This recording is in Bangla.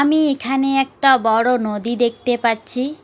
আমি এখানে একটা বড়ো নদী দেখতে পাচ্ছি।